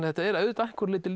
þetta er að einhverju leyti